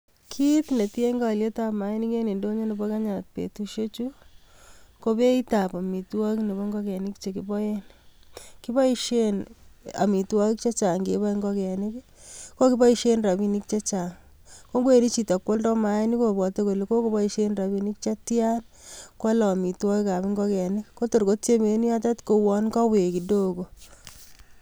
Kit netiegei alyetab maainik eng ndonyi nebo kenya betushek chu, ko beitab amitwagik nebo ngokenik chekiboe. Kiboishen amitwagik chechang keboei ngokenik. Kiboishe rabinik che chang, ko ngowendi. Hito bo koaldai maainik kobwote kole kokoboishen rabinik chetian koalei amitwagik ab ngokenik ko tor kotiemei en yotet kouon kawek kidogo.